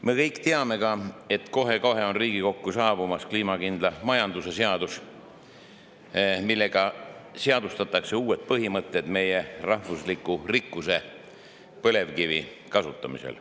Me kõik teame ka, et kohe-kohe on Riigikokku saabumas kliimakindla majanduse seadus, millega seadustatakse uued põhimõtted meie rahvusliku rikkuse – põlevkivi – kasutamiseks.